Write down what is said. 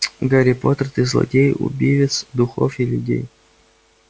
гарри поттер ты злодей убивец духов и людей